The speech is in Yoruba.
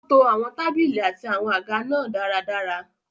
Ó to àwọn tábìlì àti àwọn àga náà dáradára.